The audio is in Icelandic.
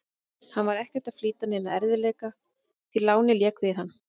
Hann var ekkert að flýja neina erfiðleika, því lánið lék við hann.